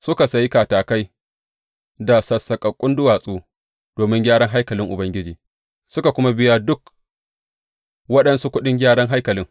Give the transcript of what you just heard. Suka sayi katakai da sassaƙaƙƙun duwatsu domin gyaran haikalin Ubangiji, suka kuma biya duk waɗansu kuɗin gyaran haikalin.